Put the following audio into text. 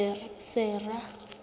sera